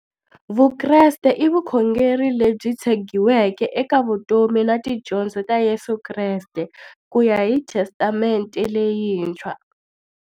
Vukreste i vukhongeri lebyi tshegiweke eka vutomi na tidyondzo ta Yesu Kreste kuya hi Testamente leyintshwa.